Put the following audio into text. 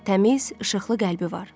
Təmiz, işıqlı qəlbi var.